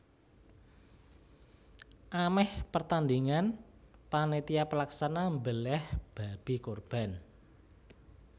Amèh pertandhingan panitia pelaksana mbelèh babi kurban